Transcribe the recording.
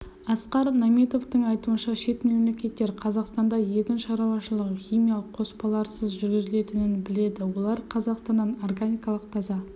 асқар наметовтің айтуынша шет мемлекеттер қазақстанда егін шаруашылығы химиялық қоспаларсыз жүргізілетінін біледі олар қазақстаннан органикалық таза